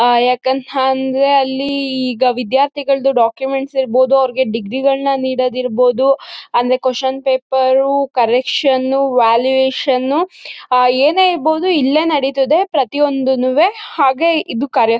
ಆಹ್ಹ್ ಯಾಕಂತಂದ್ರೆ ಅಲ್ಲಿ ಈಗ ವಿದ್ಯಾರ್ಥಿಗಳದ್ದು ಡಾಕ್ಯುಮೆಂಟ್ಸ್ ಇರ್ಬಹುದು ಡಿಗ್ರಿಗಳನ್ನ ನೀಡೋದು ಇರ್ಬಹುದು ಅಂದ್ರೆ ಕ್ವಾಸ್ಷನ್ ಪೇಪರ್ ಕರೆಕ್ಷನ್ ವ್ಯಾಲ್ಯೂಯೇಷನ್ಸ್ ಏನೇ ಇರ್ಬಹುದು ಇಲ್ಲೇ ನಡೀತದೆ ಪ್ರತಿಯೊಂದುನುವೇ ಹಾಗೆ ಇದು ಕರೆಕ್-